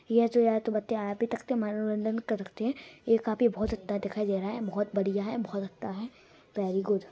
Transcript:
ये जो यहाँ पे मनोरंजन करते हैं। ये काफी बहोत अच्छा दिखाई दे रहा है। बहोत बढ़िया है। बहोत अच्छा है। Very good.